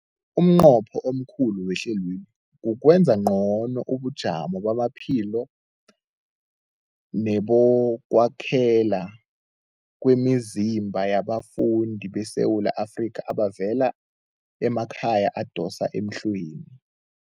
Umnqopho omkhulu wehlelweli kukwenza ngcono ubujamo bamaphilo nebokwakhela kwemizimba yabafundi beSewula Afrika abavela emakhaya adosa emhlweni.